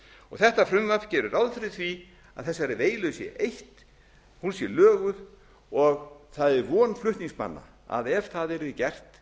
þetta frumvarp gerir ráð ári því að þessari veilu sé eytt hún sé löguð og það er von flutningsmanna að ef það yrði gert